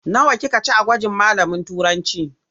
Nawa kika ci a gwajin malamin Turancı?